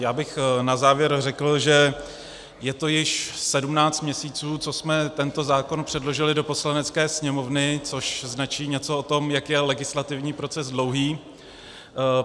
Já bych na závěr řekl, že je to již 17 měsíců, co jsme tento zákon předložili do Poslanecké sněmovny, což značí něco o tom, jak je legislativní proces dlouhý.